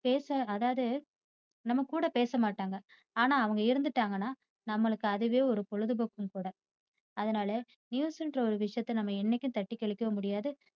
பேச அதாவது நம்மகூட பேசமாட்டாங்க. ஆனா அவங்க இருந்திட்டாங்கன்னா நம்மளுக்கு அதுவே ஒரு பொழுதுபோக்கும் கூட. அதுனால news ங்ரா ஒரு விஷயத்தை நம்ம என்னைக்கும் தட்டி கழிக்க முடியாது